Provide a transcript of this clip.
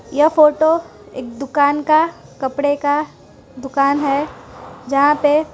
यह फोटो एक दुकान का कपड़े का दुकान है जहां पे।